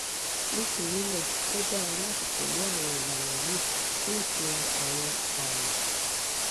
nítorí náà ó dára láti tẹ̀lé àwọn ìlànà yìí fún ìtura àwọn àmì